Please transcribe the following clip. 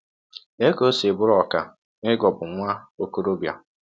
Lee ka ọ si bụrụ ọkà n’ịghọgbụ nwa ọkọrọbịa!